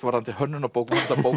varðandi hönnun á bókum